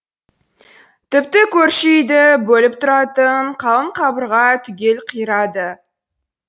тіпті көрші үйді бөліп тұратын қалың қабырға түгел қирады